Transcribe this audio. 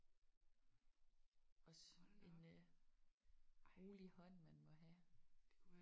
Også en rolig hånd man må have